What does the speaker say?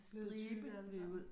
Blevet tykke landet ud